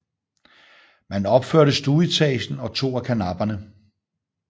Man opførte stueetagen og to af karnapperne